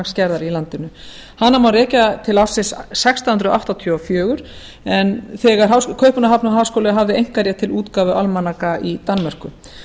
almanaksgerðar í landinu hana má rekja til ársins sextán hundruð áttatíu og fjögur en kaupmannahafnarháskóli hafði einkarétt til útgáfu almanaka í danmörku